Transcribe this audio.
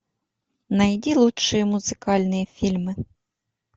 найди лучшие музыкальные фильмы